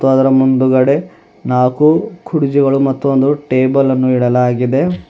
ಅದರ ಮುಂದುಗಡೆ ನಾಕು ಕುರ್ಚಿಗಳು ಮತ್ತು ಒಂದು ಟೇಬಲ್ ಅನ್ನು ಇಡಲಾಗಿದೆ.